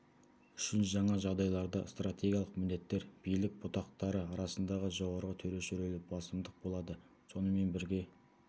үшін жаңа жағдайларда стратегиялық міндеттер билік бұтақтары арасындағы жоғары төреші рөлі басымдық болады сонымен бірге